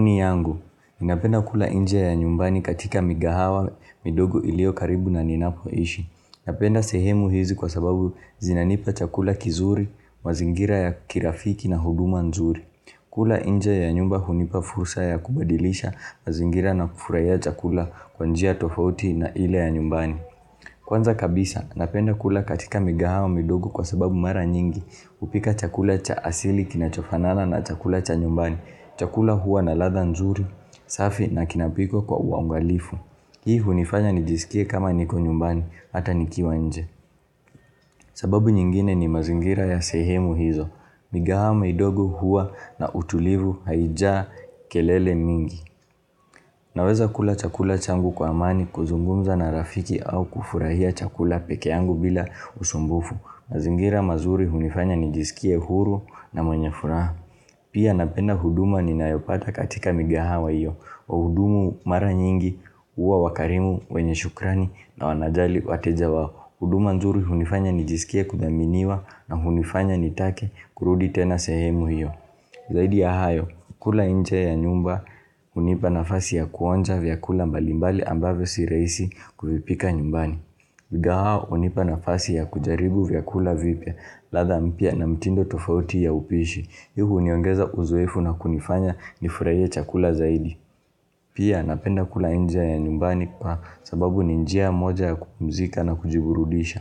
Maoni yangu, napenda kula nje ya nyumbani katika migahawa midogo ilio karibu na ninapoishi. Napenda sehemu hizi kwa sababu zinanipa chakula kizuri, mazingira ya kirafiki na huduma nzuri. Kula nje ya nyumba hunipa fursa ya kubadilisha, mazingira na kufurahia chakula kwa njia tofauti na ile ya nyumbani. Kwanza kabisa, napenda kula katika migahawa midogo kwa sababu mara nyingi, hupika chakula cha asili kinachofanana na chakula cha nyumbani. Chakula huwa na ladha nzuri, safi na kinapikwa kwa uangalifu. Hii hunifanya nijisikie kama niko nyumbani, hata nikiwa nje. Sababu nyingine ni mazingira ya sehemu hizo. Migahawa midogo huwa na utulivu haijaa kelele mingi. Naweza kula chakula changu kwa amani kuzungumza na rafiki au kufurahia chakula peke yangu bila usumbufu. Mazingira mazuri hunifanya nijisikie huru na mwenye furaha. Pia napenda huduma ninayopata katika migahawa hiyo wahudumu mara nyingi huwa wakarimu wenye shukrani na wanajali wateja wao. Huduma nzuri hunifanya nijisikie kudhaminiwa na hunifanya nitake kurudi tena sehemu hiyo. Zaidi ya hayo, kula nje ya nyumba, hunipa nafasi ya kuonja vyakula mbalimbali ambavyo si rahisi kuvipika nyumbani. Migahawa hunipa nafasi ya kujaribu vyakula vipya, ladha mpya na mtindo tofauti ya upishi. Hii uniongeza uzoefu na kunifanya nifurahie chakula zaidi. Pia napenda kula nje ya nyumbani kwa sababu ni njia moja ya kupumzika na kujiburudisha.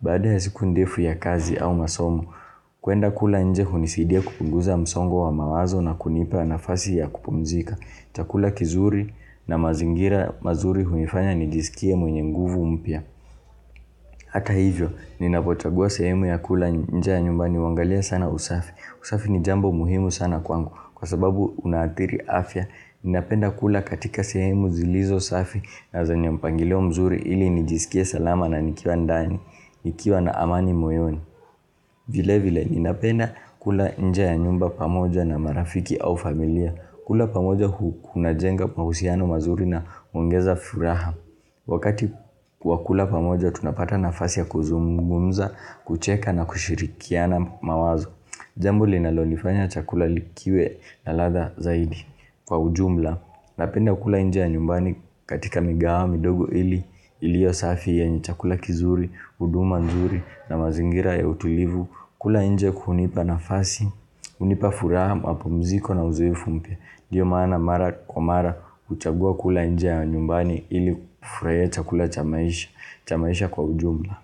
Baada ya siku ndefu ya kazi au masomo kuenda kula nje hunisidia kupunguza msongo wa mawazo na kunipa nafasi ya kupumzika. Chakula kizuri na mazingira mazuri hunifanya nijisikie mwenye nguvu mpya. Hata hivyo, ninapochagua sehemu ya kula nje ya nyumbani huangalia sana usafi. Usafi ni jambo muhimu sana kwangu kwa sababu unaathiri afya Ninapenda kula katika sehemu zilizo safi na zenye mpangilio mzuri ili nijisikie salama na nikiwa ndani, nikiwa na amani moyoni vile vile ninapenda kula nje a nyumba pamoja na marafiki au familia kula pamoja kunajenga mahusiano mazuri na huongeza furaha Wakati kwa kula pamoja tunapata nafasi ya kuzungumza, kucheka na kushirikiana mawazo Jambo linalonifanya chakula likiwe na ladha zaidi kwa ujumla Napenda kula nje ya nyumbani katika migahawa midogo ili iliyo safi yenye chakula kizuri, huduma nzuri na mazingira ya utulivu kula nje kunipa nafasi, hunipa furaha, mapumziko na uzoefu mpya ndio maana mara kwa mara huchagua kula nje ya nyumbani ili kufurahia chakula cha maisha cha maisha kwa ujumla.